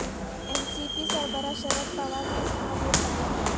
N C P سربراہ شرد پوار نے اپنا ووٹ ڈالا